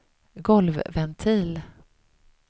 golvventil